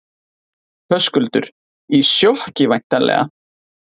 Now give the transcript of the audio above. Höskuldur: Í sjokki væntanlega?